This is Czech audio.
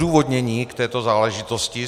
Odůvodnění k této záležitosti.